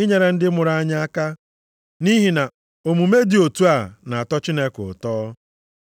inyere ndị mụrụ anyị aka. Nʼihi na omume dị otu a na-atọ Chineke ụtọ.